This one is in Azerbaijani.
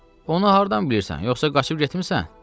“Onu hardan bilirsən, yoxsa qaçıb getmisən?”